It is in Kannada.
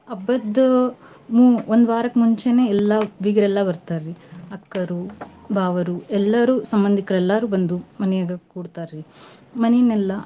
ಹಬ್ಬದ್ ಹ್ಞೂ ಒಂದ್ ವಾರಕ್ ಮುಂಚೆನೆ ಎಲ್ಲಾ ಬಿಗ್ರ್ ಎಲ್ಲಾ ಬರ್ತಾರಿ ಅಕ್ಕಾರು ಬಾವರೂ ಎಲ್ಲರೂ ಸಂಬಂದಿಕ್ರು ಎಲ್ಲಾರು ಬಂದು ಮನ್ಯಾಗ ಕೂಡ್ತಾರಿ ಮನಿನೆಲ್ಲ.